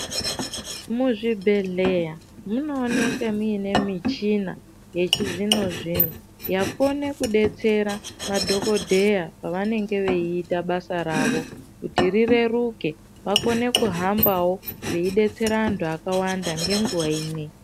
Muzvibhedhleya munooneke muine michina yechizvino zvino, yakona kudetsera madhokodheya pavanenge veiita basa ravo kuti rireruke vakone kuhambawo veidetsera vantu vakawanda ngenguva imwe.